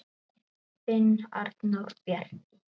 Þinn Arnór Bjarki.